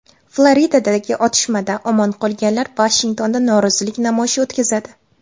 Floridadagi otishmada omon qolganlar Vashingtonda norozilik namoyishi o‘tkazadi.